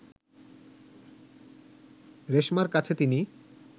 রেশমার কাছে তিনি